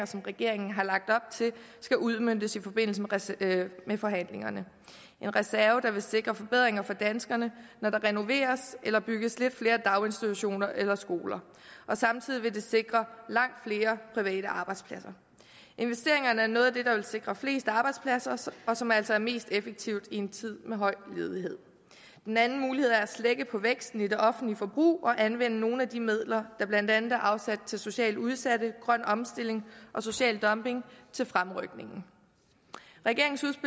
som regeringen har lagt op til skal udmøntes i forbindelse med forhandlingerne en reserve der vil sikre forbedringer for danskerne når der renoveres eller bygges lidt flere daginstitutioner eller skoler og samtidig vil den sikre langt flere private arbejdspladser investeringerne er noget af det der vil sikre flest arbejdspladser og som altså er mest effektivt i en tid med høj ledighed en anden mulighed er at slække på væksten i det offentlige forbrug og anvende nogle af de midler der blandt andet er afsat til socialt udsatte grøn omstilling og social dumping til fremrykning regeringens